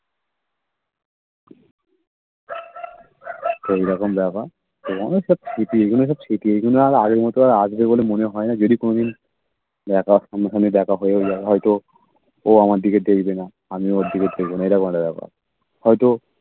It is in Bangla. এই রকম ব্যাপার এই গুলো সব স্মৃতি এই গুলো সব স্মৃতি এই গুলো আর আগের মতো আর আসবে বলে মনে হয়না যদি কোনো দিন দেখা সঙ্গে সঙ্গে দেখা হয়ে যায় হয়ত ও আমার দিকে দেখবেনা আমিও ওর দিকে দেখবোনা এরকম একটা ব্যাপার হয়তো